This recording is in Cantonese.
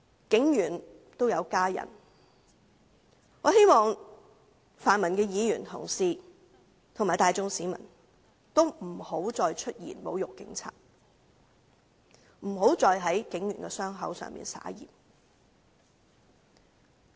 警員也有家人，我希望泛民議員及大眾市民不要再出言侮辱警員，不要再在警員的傷口上灑鹽。